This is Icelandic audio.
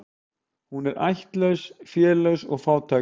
Hún ættlaus, félaus og fátæk.